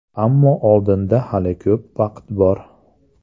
Ammo oldinda hali ko‘p vaqt bor.